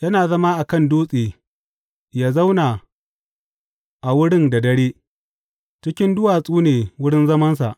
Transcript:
Yana zama a kan dutse yă zauna a wurin da dare; cikin duwatsu ne wurin zamansa.